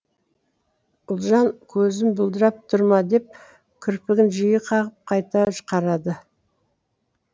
ұлжан көзім бұлдырап тұр ма деп кірпігін жиі қағып қайта қарады